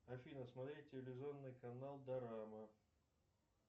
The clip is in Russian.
афина смотреть телевизионный канал дорама